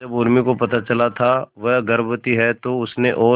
जब उर्मी को पता चला था वह गर्भवती है तो उसने और